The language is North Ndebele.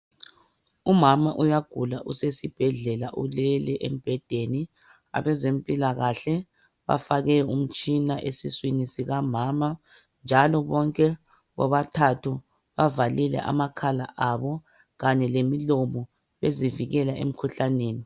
Umama uyagula usesibhedlela ulele embhedeni. Abezempilakahle bafake umtshina esiswini sikamama njalo bonke bobathathu bavalile amakhala abo kanye lemlomo bezivikela emikhuhlaneni